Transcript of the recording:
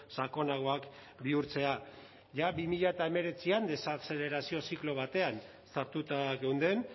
sakonagoak bihurtzea jada bi mila hemeretzian desazelerazio ziklo batean sartuta geunden